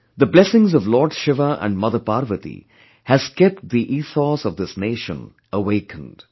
The blessings of Lord Shiva and Mother Parvati has kept the ethos of this nation awakened